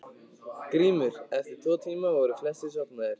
GRÍMUR: Eftir tvo tíma voru flestir sofnaðir.